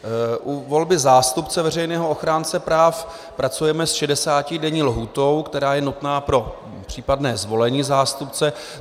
U volby zástupce Veřejného ochránce práv pracujeme s 60denní lhůtou, která je nutná pro případné zvolení zástupce.